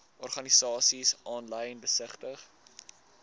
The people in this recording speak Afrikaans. organisasies aanlyn besigtig